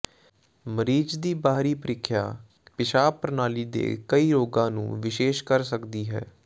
ਮਰੀਜ਼ ਦੀ ਬਾਹਰੀ ਪਰੀਖਿਆ ਪਿਸ਼ਾਬ ਪ੍ਰਣਾਲੀ ਦੇ ਕਈ ਰੋਗਾਂ ਨੂੰ ਵਿਸ਼ੇਸ਼ ਕਰ ਸਕਦੀ ਹੈ